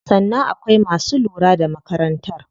Sannan akwai masu lura da makarantar.